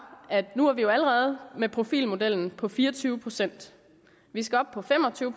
at nu har vi jo allerede profilmodellen på fire og tyve procent vi skal op på fem og tyve